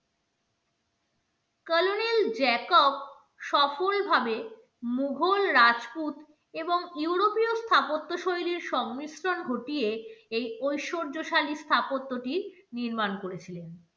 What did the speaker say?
কলোনিল Jacob সফলভাবে মোঘল রাজপুত এবং ইউরোপীয় স্থাপত্য শৈলীর সংমিশ্রণ ঘটিয়ে এই ঐশ্বর্যশালী স্থাপত্যটি নির্মাণ করেছিলেন।